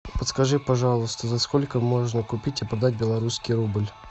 подскажи пожалуйста за сколько можно купить и продать белорусский рубль